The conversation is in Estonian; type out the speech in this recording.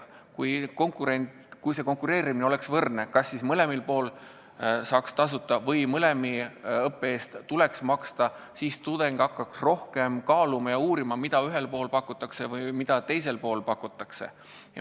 Kui konkurents oleks aus, kui mõlemas kõrgkoolis saaks tasuta õppida või mõlema õppe eest tuleks maksta, siis tudeng hakkaks rohkem kaaluma ja uurima, mida ühes koolis pakutakse või mida teises pakutakse.